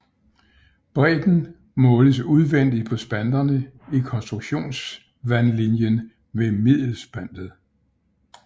Bredden måles udvendigt på spanterne i konstruktionsvandlinjen ved middelspantet